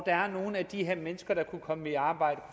er nogle af de her mennesker der kunne komme i arbejde